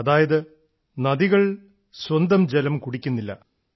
അതായത് നദികൾ സ്വന്തം ജലം കുടിക്കുന്നില്ല